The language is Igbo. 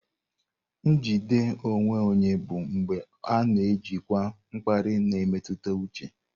Njide onwe onye bụ mgbe a na-ejikwa mkpali na mmetụta uche.